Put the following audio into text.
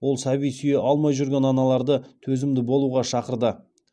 ол сәби сүйе алмай жүрген аналарды төзімді болуға шақырды